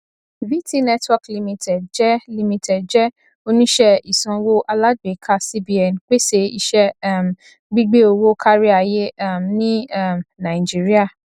vtnetwork limited jẹ limited jẹ oníṣẹ ìsanwó alágbèéká cbn pèsè iṣẹ um gbígbé owó káríayé um ní um naijiría